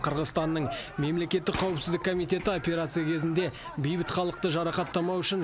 қырғызстанның мемлекеттік қауіпсіздік комитеті операция кезінде бейбіт халықты жарақаттамау үшін